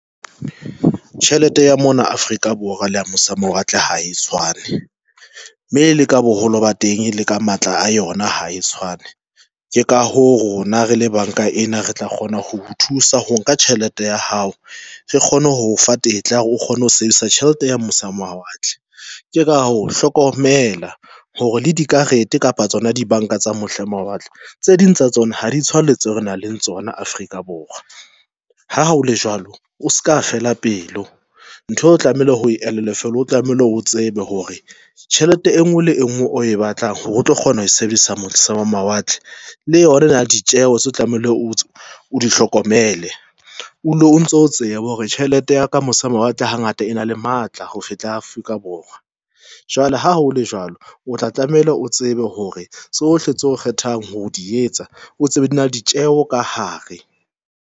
Tjhelete ya mona Afrika Borwa le ya mose ho mawatle ha e tshwane, mme le ka boholo ba teng le ka matla a yona ha e tshwane. Ke ka ho rona rele banka ena re tla kgona ho o thusa ho nka tjhelete ya hao re kgone ho fa tetla ya hore o kgone ho sebedisa tjhelete ya mose ho mawatle. Ke ka ho hlokomela hore le dikarete kapa tsona di banka tsa mose ho mawatle tse ding tsa tsona ha di tshwane le tse re nang le tsona Afrika Borwa. Ha o le jwalo o se ka fela pelo ntho o tlamehile hore o elellwe fela o tlamehile hore o tsebe hore tjhelete e nngwe le e nngwe o e batlang hore o tlo kgona ho e sebedisa mose ho mawatle le yona ena le ditjeho tseo tlamehile o hlokomele o dule o ntso o tseba hore tjhelete ya ka mose ho mawatle ha ngata e na le matla ho feta ya Afrika Borwa. Jwale ha hole jwalo, o tla tlameile o tsebe hore tsohle tseo kgethang ho di etsa o tsebe di na ditjeho ka hare.